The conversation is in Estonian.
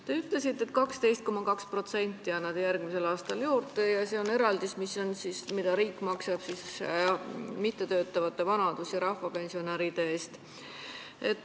Te ütlesite, et 12,2% annate järgmisel aastal juurde ja et see on eraldis, mida riik maksab mittetöötavate vanaduspensionäride ja rahvapensionäride eest.